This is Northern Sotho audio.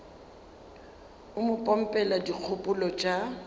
o mo pompela dikgopolo tša